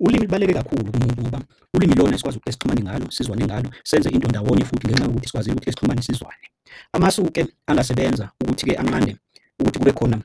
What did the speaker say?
Ulimi lubaluleke kakhulu kumuntu ngoba ulimi ilona esikwazi esixhumane ngalo sizwane ngalo, senze into ndawonye futhi ngenxa yokuthi sikwazile ukuthi sixhumane sizwane. Amasu-ke angasebenza ukuthi-ke anqande ukuthi kube khona